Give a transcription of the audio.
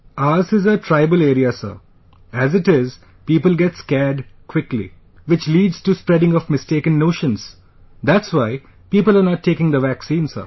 Ours is a tribal area Sir...as it is, people get scared quickly...which leads to spreading of mistaken notions...that's why people are not taking the vaccine Sir